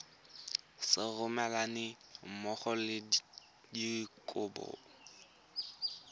sa romelweng mmogo le dikopo